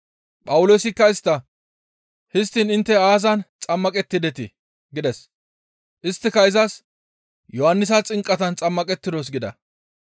Phawuloosikka istta, «Histtiin intte aazan xammaqettidetii?» gides; isttika izas, «Yohannisa xinqatan xammaqettidos» gida.